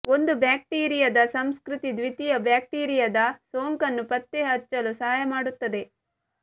ಒಂದು ಬ್ಯಾಕ್ಟೀರಿಯಾದ ಸಂಸ್ಕೃತಿ ದ್ವಿತೀಯ ಬ್ಯಾಕ್ಟೀರಿಯಾದ ಸೋಂಕನ್ನು ಪತ್ತೆಹಚ್ಚಲು ಸಹಾಯ ಮಾಡುತ್ತದೆ